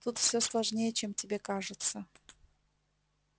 тут все сложнее чем тебе кажется